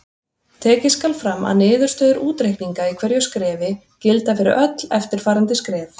Tekið skal fram að niðurstöður útreikninga í hverju skrefi gilda fyrir öll eftirfarandi skref.